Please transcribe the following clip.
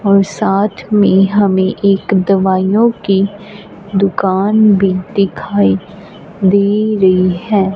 और साथ में हमें एक दवाइयों की दुकान भी दिखाई दे रही है।